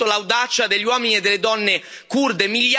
Ho conosciuto l'audacia degli uomini e delle donne curde.